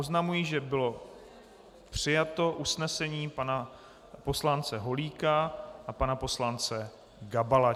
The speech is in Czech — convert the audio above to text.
Oznamuji, že bylo přijato usnesení pana poslance Holíka a pana poslance Gabala.